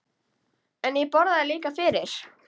En ég borgaði líka fyrir.